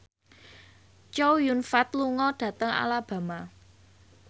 Chow Yun Fat lunga dhateng Alabama